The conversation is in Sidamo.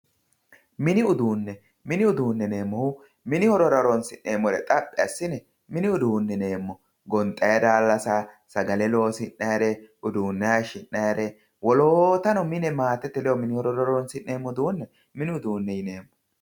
Mini uduune, mini uduune yineemmohu mini horora horonsi'neemmore xaphi assine mini uduune yineemmo gonxanni daalassa, sagale loosi'nayire uduune hayishi'nannire, woloottano mine maatete ledo horonsi'neemmo uduune mini uduune yineemmo.